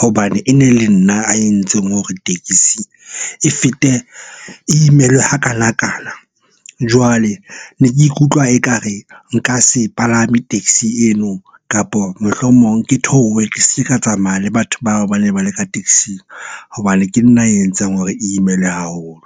hobane e ne le nna a entseng hore tekesi e fete, e imelwe hakanakana. Jwale ne ke ikutlwa ekare e nka se palame taxi eno, kapo mohlomong ke theohe ke se ke ka tsamaya le batho bao ba ne ba le ka taxing. Hobane ke nna a entseng hore e imelwe haholo.